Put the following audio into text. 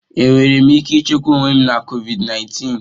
Enwere m ike ichekwa onwe m na COVID 19?